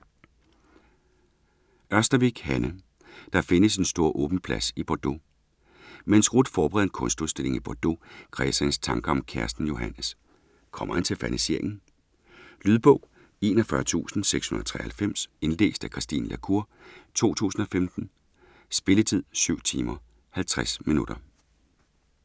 Ørstavik, Hanne: Der findes en stor åben plads i Bordeaux Mens Ruth forbereder en kunstudstilling i Bordeaux, kredser hendes tanker om kæresten Johannes. Kommer han til ferniseringen? Lydbog 41693 Indlæst af Christine la Cour, 2015. Spilletid: 7 timer, 50 minutter.